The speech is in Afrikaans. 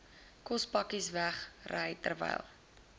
kospakkes wegry terwyl